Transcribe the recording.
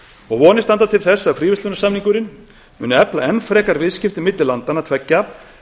og vonir standa til þess að fríverslunarsamningurinn muni efla enn frekar viðskipti milli landanna tveggja